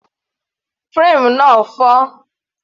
Frame náà fọ́